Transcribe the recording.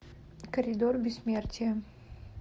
коридор бессмертия